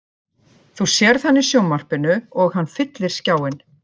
Þú sérð hann í sjónvarpinu og hann fyllir skjáinn.